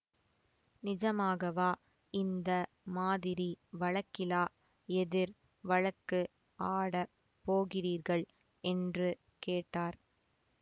நிஜமாகவா இந்த மாதிரி வழக்கிலா எதிர் வழக்கு ஆடப் போகிறீர்கள் என்று கேட்டார்